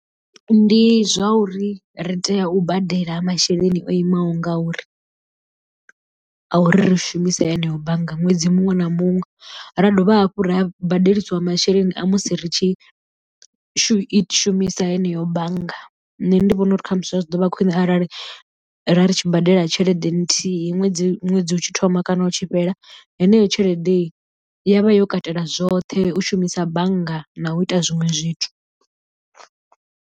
Ndi zwa uri ri tea u badela masheleni o imaho ngauri, a uri ri shumise eneo bannga ṅwedzi muṅwe na muṅwe ra dovha hafhu ra badeliswa masheleni a musi ri tshi u i shumisa heneyo bannga nṋe ndi vhona uri khamusi zwa tshi ḓo vha khwine arali ra ri tshi badela tshelede nthihi ṅwedzi ṅwedzi u tshi thoma kana u tshi fhela heneyo tshelede ya vha yo katela zwoṱhe u shumisa bannga na u ita zwiṅwe zwithu.